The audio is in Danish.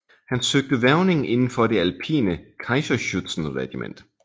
Han søgte hvervning inden for det alpine Kaiserschützenregiment